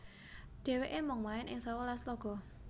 Dhèwèké mung main ing sewelas laga